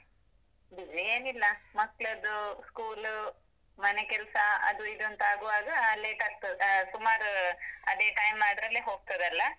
busy ಏನಿಲ್ಲ, ಮಕ್ಳದ್ದು School, ಮನೆ ಕೆಲ್ಸ, ಅದು ಇದು ಅಂತ ಆಗುವಾಗ, late ಆಗ್ತದೆ, ಸುಮಾರು ಅದೇ time ಅದ್ರಲ್ಲೇ ಹೋಗ್ತದಲ್ಲ?